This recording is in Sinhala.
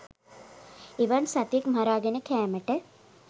එවන් සතෙක් මරාගෙන කෑමට